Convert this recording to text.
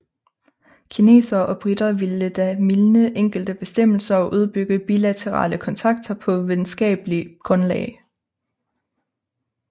Kinesere og briter ville da mildne enkelte bestemmelser og udbygge bilaterale kontakter på venskapelig grundlag